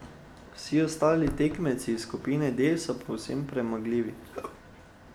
Vsi ostali tekmeci iz skupine D so povsem premagljivi.